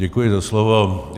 Děkuji za slovo.